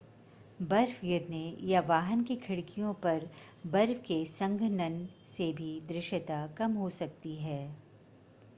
बर्फ गिरने या वाहन की खिड़कियों पर बर्फ के संघनन से भी दृश्यता कम हो सकती है